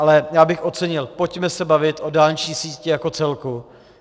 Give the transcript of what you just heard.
Ale já bych ocenil, pojďme se bavit o dálniční síti jako celku.